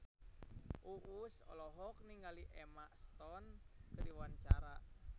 Uus olohok ningali Emma Stone keur diwawancara